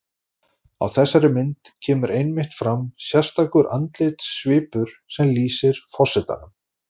Á þessari mynd kemur einmitt fram sérstakur andlitssvipur sem lýsir forsetanum.